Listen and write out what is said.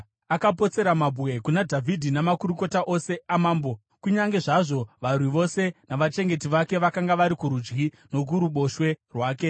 Akapotsera mabwe kuna Dhavhidhi namakurukota ose amambo, kunyange zvazvo varwi vose navachengeti vake vakanga vari kurudyi nokuruboshwe rwake.